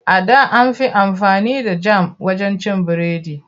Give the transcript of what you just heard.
A da an fi amfani da jam wajen cin biredi.